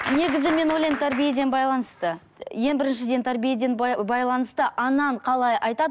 негізі мен ойлаймын тәрбиеден байланысты ең біріншіден тәрбиеден байланысты анаң қалай айтады